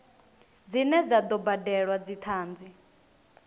dzine dza do badelwa dzithanzi